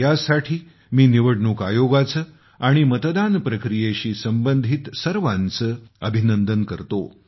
यासाठी मी निवडणूक आयोगाचे आणि मतदान प्रक्रियेशी संबंधित सर्वांचे अभिनंदन करतो